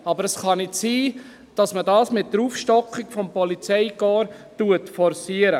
Aber es kann nicht sein, dass man das mit der Aufstockung des Polizeikorps forciert.